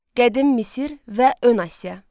Qədim Misir və Ön Asiya.